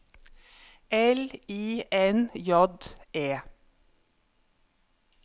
L I N J E